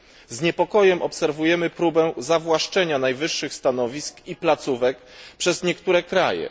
Z niepokojem obserwujemy próbę zawłaszczenia najwyższych stanowisk i placówek przez niektóre kraje.